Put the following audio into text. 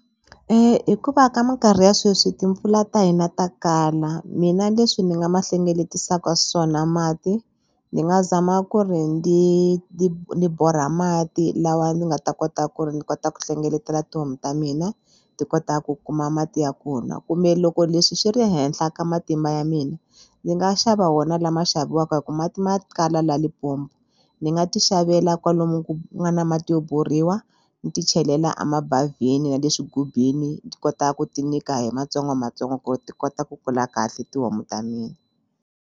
hikuva ka mikarhi ya sweswi timpfula ta hina ta kala mina leswi ni nga ma hlengeletisaka swona mati ni nga zama ku ri ndzi ni borha mati lawa ni nga ta kota ku ri ni kota ku hlengeletela tihomu ta mina ti kota ku kuma mati ya ku nwa kumbe loko leswi swi ri henhla ka matimba ya mina ni nga xava wona lama xaviwaku hi ku mati ma kala la Limpopo ni nga ti xavela kwalomu ku nga na mati yo borhiwa ni ti chelela a mabavhini ya le swigubini ni kota ku ti nyika hi matsongomatsongo ku ti kota ku kula kahle tihomu ta mina.